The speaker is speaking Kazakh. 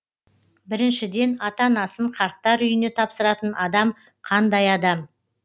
біріншіден ата анасын қарттар үйіне тапсыратын адам қандай адам